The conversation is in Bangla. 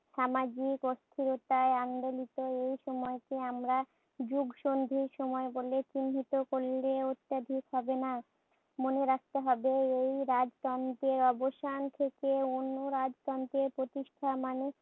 সামাজিক অস্থিরতায় আন্দোলিত এই সময়কে আমরা যুগসন্ধির সময় বলে চিহ্নিত করলেও অত্যধিক হবে না। মনে রাখতে হবে এই রাজতন্ত্রর অবসান থেকে অন্য রাজতন্ত্রের প্রতিষ্ঠা। মানে